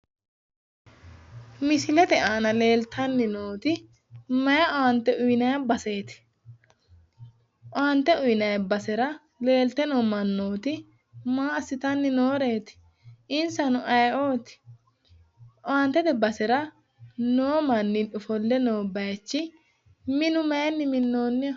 Misilete aanan leeltanni nooti mayi owaante uyiinayi baseeti? Owaante uyiinayi basera leeltayi noo mannooti maa asssitanni nooreeti? insano aye"oti?,owaantete basera noo manni ofolle noo bayiichi minu mayiinni minnoonniho?